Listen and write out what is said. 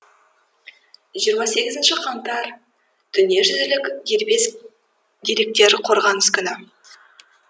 жиырма сегізінші қаңтар дүние жүзілік дербес деректер қорғанысы күні